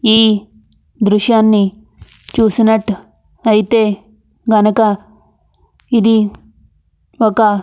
ఈ దృశ్యాన్ని చూసినట్టైతే గనక ఇది ఒక --